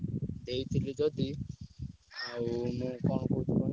ଦେଇଥିଲି ଯଦି ଆଉ ମୁଁ କଣ କହୁଛି କୁହନି